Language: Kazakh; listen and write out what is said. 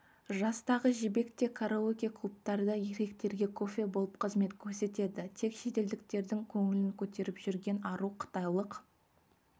жастағы жібек те караоке-клубтарда еркектерге кофе болып қызмет көрсетеді тек шетелдіктердің көңілін көтеріп жүрген ару қытайлық